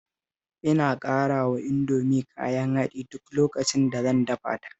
Ina ƙarawa Indomi kayan haɗi duk lokacin da zan dafa ta